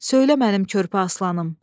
Söylə mənim körpə aslanım.